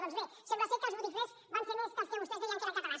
doncs bé sembla que els botiflers van ser més que els que vostès deien que eren catalans